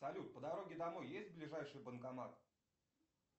салют по дороге домой есть ближайший банкомат